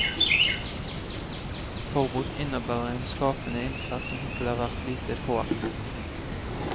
Forbruk innebærer en skapende innsats som hittil har vært lite påaktet.